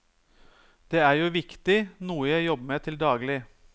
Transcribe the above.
Det er jo viktig, noe jeg jobber med til daglig.